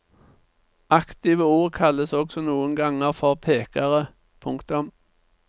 Aktive ord kalles også noen ganger for pekere. punktum